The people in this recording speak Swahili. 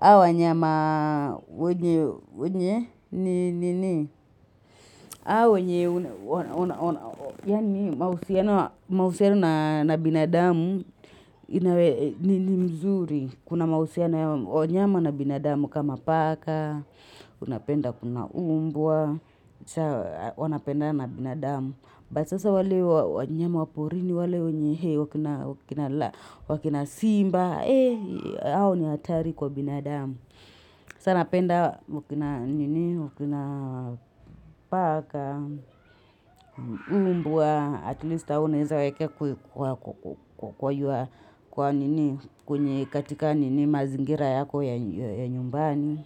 hao wanyama wenye wenye ni nini hao wenye Yaani mahusiano na mahusiano na binadamu ni mzuri. Kuna mahusiano ya wanyama na binadamu kama paka Unapenda kuna mbwa saa wanapendana na binadamu. But sasa wale wanyama wa porini wale kina simba hao ni hatari kwa binadamu. Sa napenda wakina wakina paka mbwa, at least hao unaweza weka kwa nini kwenye katika nini mazingira yako ya nyumbani.